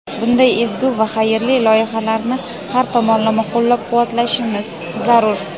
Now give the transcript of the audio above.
Bunday ezgu va xayrli loyihalarni har tomonlama qo‘llab-quvvatlashimiz zarur.